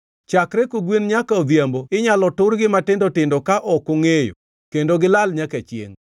Chakre kogwen nyaka odhiambo inyalo turgi matindo tindo ka ok ongʼeyo, kendo gilal nyaka chiengʼ.